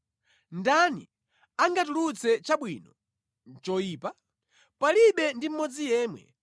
Ndani angatulutse chabwino mʼchoyipa? Palibe ndi mmodzi yemwe!